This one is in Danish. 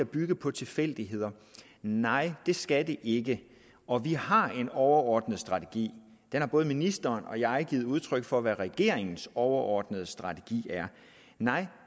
bygge på tilfældigheder nej det skal de ikke og vi har en overordnet strategi både ministeren og jeg har givet udtryk for hvad regeringens overordnede strategi er og nej